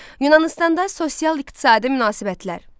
Yunanıstanda sosial-iqtisadi münasibətlər.